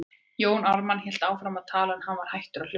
Jón Ármann hélt áfram að tala, en hann var hættur að hlusta.